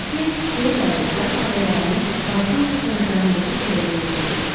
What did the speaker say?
Lakey geri qayıdıb zat ailələrinin parkın qurtaracağındakı evə girdiyini dedi.